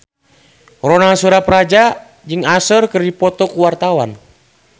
Ronal Surapradja jeung Usher keur dipoto ku wartawan